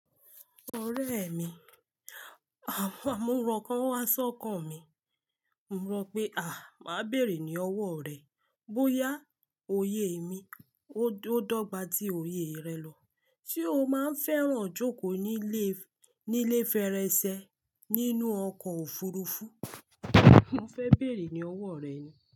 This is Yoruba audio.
Ọ̀rẹ́ mi, à mo rọ̀ n kan o wá sọ́kàn mi. Mọ rọ pé, "àh, màá béèrè ní ọwọ́ rẹ̀, bóyá òye mi ó dọ́gba tí òye rẹ lọ. Ṣé o máa ń fẹ́ràn jókòó nílé, nílé fèrèsé nínú ọkọ̀ òfurufú?" Mọ fẹ́ béèrè ní ọwọ́ rẹ ni.